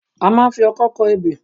A máa ń ń fi ọkọ́ kọ ebè.